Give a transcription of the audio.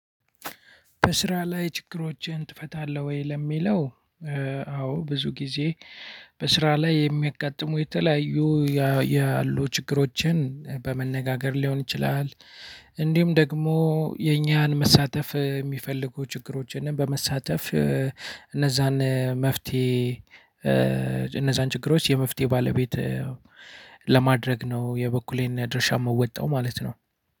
በስራ ላይ ችግሮችን ትፈታለህ ወይ ለሚለው? አዎ ብዙ ጊዜ በስራ ላይ የሚያጋጥሙ የተለያዩ ያያሉ ችግሮችን በመነጋገር ሊሆን ይችላል። እንዲሁም ደግሞ የኛን መሳተፍሚፈልጉ ችግሮችን በመሳተፍ እነዛን መፍተሄ እነዛን ችግሮች የመፍትሄው ባለቤት ለማድረግ ነው። የበኩሌን ድርሻ ምወጣው ማለት ነው።